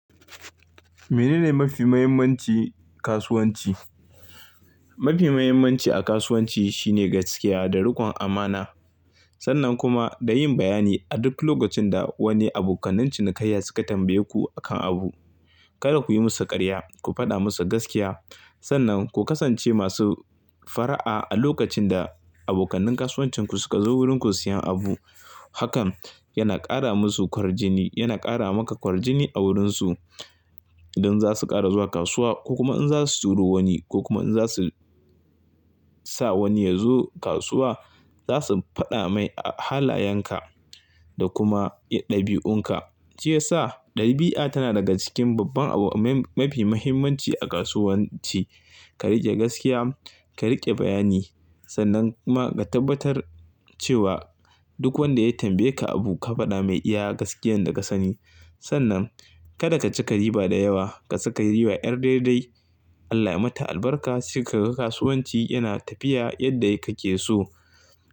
Mene ne mafi muhimmanci kasuwanci? Mafi muhimmanci a kasuwanci shine gaskiya da rikon amana. Sannan kuma da yin bayani a duk lokacin da wani abokanan cinikayya suka tambaye ku akan abu. Kada ku yi musu karya, ku faɗa musu gaskiya. Sannan ku kasance masu fara'a a lokacin da abokanin kasuwancin ku suka zo wurin ku siyan abu. Hakan yana ƙara musu ƙwarjini, yana ƙara maka ƙwarjini a wurinsu. Don zasu ƙara zuwa kasuwa ko kuma in za su turo wani ko kuma in za su sa wani yazo kasuwa, zasu faɗa mai a halayenka da kuma ɗabi'unka. Shiya sa ɗabi'a tana daga cikin babban abu mafi muhimmanci a kasuwanci. Ka riƙe gaskiya, ka riƙe bayani sannan kuma ka tabbatar cewa duk wanda ya tambaye ka abu ka faɗa mai iya gaskiyan da ka sani. Sannan kada ka ci ka riba da yawa, ka saka riba yar daidai. Allah ya mata albarka sai kaga kasuwanci yana tafiya yadda kake so.